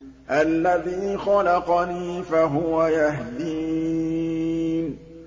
الَّذِي خَلَقَنِي فَهُوَ يَهْدِينِ